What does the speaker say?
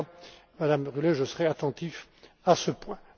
En tout cas, Mme Rühle, je serai attentif à ce point.